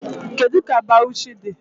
Kedu ka Bawuchi dị?